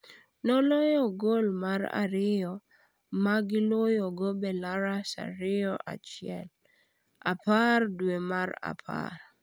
Noloyo gol mar ariyo magi loyogo Belarus 2-1, 10 dwe mar apar.